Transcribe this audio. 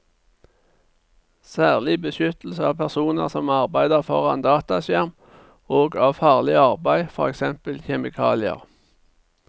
Særlig beskyttelse av personer som arbeider foran dataskjerm og av farlig arbeid, for eksempel med kjemikalier.